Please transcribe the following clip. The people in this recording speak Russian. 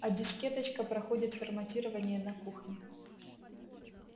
а дискеточка проходит форматирование на кухне